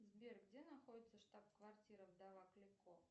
сбер где находится штаб квартира вдова клико